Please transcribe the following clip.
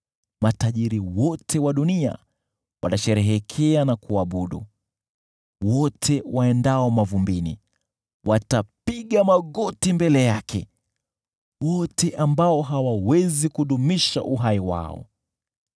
Matajiri wote wa dunia watasherehekea na kuabudu. Wote waendao mavumbini watapiga magoti mbele yake, wote ambao hawawezi kudumisha uhai wao.